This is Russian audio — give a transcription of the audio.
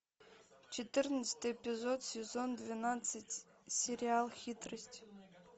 четырнадцатый эпизод сезон двенадцать сериал хитрость